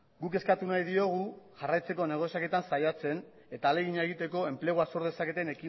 guk eskatu nahi diogu jarraitzeko negoziaketan saiatzen eta ahalegina egiteko enplegua sor dezaketen